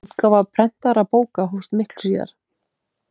Útgáfa prentaðra bóka hófst miklu síðar.